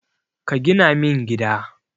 Ka gina min gida.